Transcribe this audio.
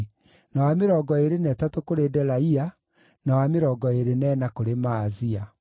na wa mĩrongo ĩĩrĩ na ĩtatũ kũrĩ Delaia, na wa mĩrongo ĩĩrĩ na ĩna kũrĩ Maazia.